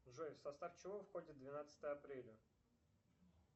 джой в состав чего входит двенадцатое апреля